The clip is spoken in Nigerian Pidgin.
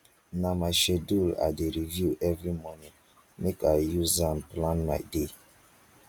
na my schedule i dey review every morning make i use am plan my day